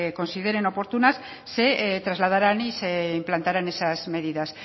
consideren oportunas se trasladarán y se implantarán esas medidas